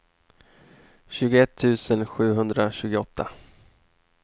tjugoett tusen sjuhundratjugoåtta